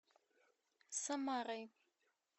самарой